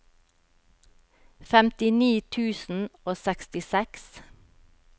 femtini tusen og sekstiseks